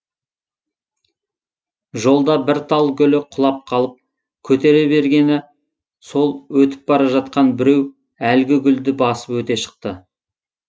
жолда бір тал гүлі құлап қалып көтере бергені сол өтіп бара жатқан біреу әлгі гүлді басып өте шықты